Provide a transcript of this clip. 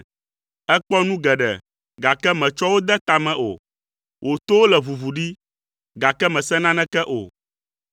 Èkpɔ nu geɖe, gake mètsɔ wo de ta me o, wò towo le ʋuʋu ɖi, gake mèse naneke o.”